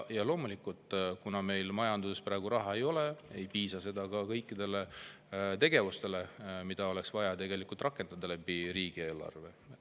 Ja loomulikult, kuna meil majanduses praegu raha ei ole, ei piisa seda kõikidele tegevustele, mida oleks vaja riigieelarve kaudu rakendada.